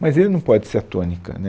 Mas ele não pode ser a tônica, né